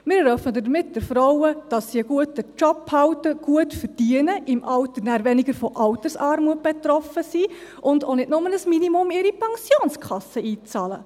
Wir ermöglichen damit den Frauen, dass sie einen guten Job behalten, gut verdienen, im Alter dann weniger von Altersarmut betroffen sind und auch nicht nur ein Minimum in ihre Pensionskasse einbezahlen.